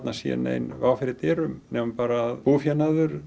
sé nein vá fyrir dyrum nema bara búfénaður